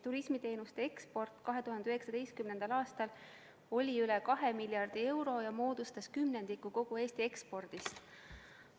Turismiteenuste eksport 2019. aastal oli üle 2 miljardi euro ja moodustas kümnendiku kogu Eesti ekspordist.